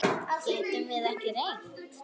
Getum við ekki reynt?